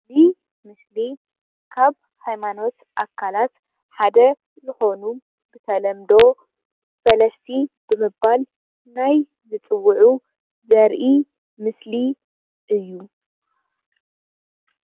እዚ ምስል ካብ ሃይማኖት ኣካልት ሓደ ዝኮኑ ብተለምዶ ፍለስቲ ብምብል ናይ ዝፅውዑ ዝርጺ ምስል እዩ።